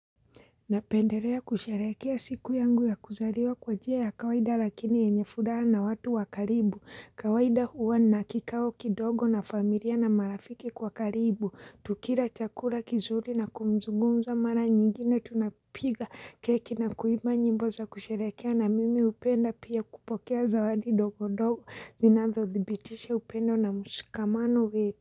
Napendelea kusherekea siku yangu ya kuzaliwa kwa njia ya kawaida lakini ya yenye furaha na watu wakaribu. Kawaida huwa na kikawo kidogo na familia na marafiki kwa karibu. Tukira chakura kizuri na kumzugumza mara nyingine tunapiga keki na kuiba nyimbo za kusherehekea na mimi upenda pia kupokea zawadi dogodogo. Zinazo thibitisha upendo na mushikamano wetu.